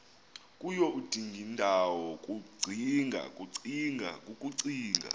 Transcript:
kuyo udingindawo kukucinga